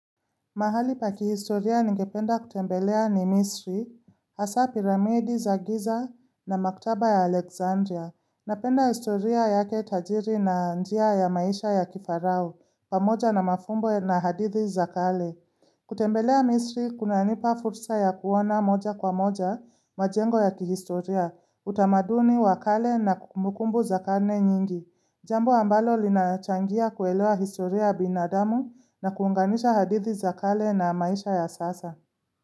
Mahali pa kihistoria ningependa kutembelea ni misri, hasa piramidi za giza na maktaba ya Alexandria. Napenda historia yake tajiri na njia ya maisha ya kifarao, pamoja na mafumbo na hadithi za kale. Kutembelea misri kunanipa futsa ya kuona moja kwa moja majengo ya kihistoria, utamaduni wa kale na kumukumbu za karne nyingi. Jambo ambalo linachangia kuelewa historia ya binadamu na kuunganisha hadithi za kale na maisha ya sasa.